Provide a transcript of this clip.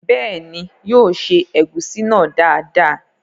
Bẹ́ẹ̀ni, yóò se ẹ̀gúsí náà dáadáa